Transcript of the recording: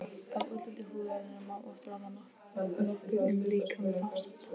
Fjörgynjar bur neppur frá naðri níðs ókvíðinn.